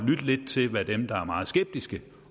lidt til hvad dem der er meget skeptiske